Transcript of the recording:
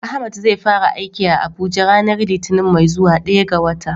Ahmad zai fara aiki a Abuja ranar litinin mai zuwa, daya ga wata.